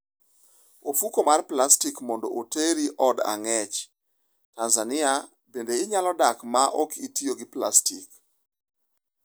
Ofuko mar plastik mondo oteri od ang'ech Tanzania Bende inyalo dak ma okitiyo gi plastik?